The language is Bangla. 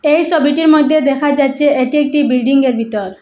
এই ছবিটির মইদ্যে দেখা যাচ্ছে এটি একটি বিল্ডিং -এর ভিতর।